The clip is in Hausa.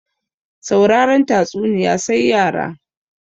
Sauraren tatsuniya sai yara